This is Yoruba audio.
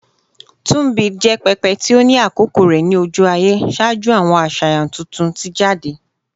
Tunbit jẹ pẹpẹ ti o ni akoko rẹ ni oju-aye ṣaaju awọn aṣayan tuntun ti jade